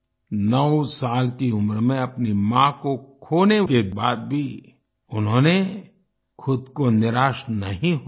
9 साल की उम्र में अपनी माँ को खोने के बाद भी उन्होंने खुद को निराश नहीं होने दिया